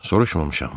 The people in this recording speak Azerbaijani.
Soruşmamışam.